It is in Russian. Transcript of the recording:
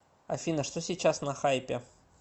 афина что сейчас на хайпе